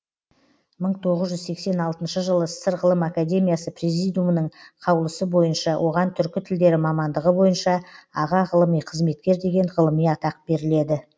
мың тоғыз жүз сексен алтыншы жылы ссср ғылым академиясы президиумының қаулысы бойынша оған түркі тілдері мамандығы бойынша аға ғылыми қызметкер деген ғылыми атақ беріледі